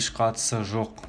еш қатысы жоқ